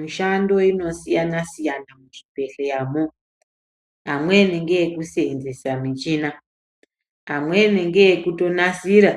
Mishando inosiyanasiyana muzvibhehleramwo amweni ngeekuseensesa muchina amweni ngekutonasira